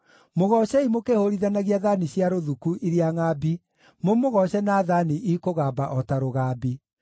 mũgoocei mũkĩhũũrithanagia thaani cia rũthuku iria ngʼambi, mũmũgooce na thaani ikũgamba o ta rũgambi.